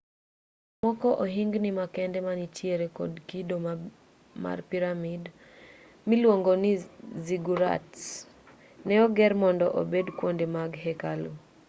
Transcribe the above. seche moko ohingni makende manitiere kod kido mar piramid miluongo ni ziggurats ne oger mondo obed kwonde mag hekalu